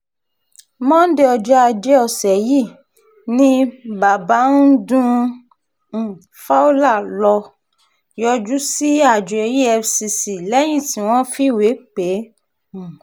monde ọjọ́ ajé ọ̀sẹ̀ yìí ni bàbáńdún um fowler lọ́ọ́ yọjú sí àjọ efcc lẹ́yìn tí wọ́n fìwé pè é um